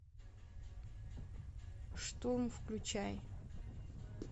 штурм включай